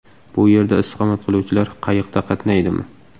Bu yerda istiqomat qiluvchilar qayiqda qatnaydimi?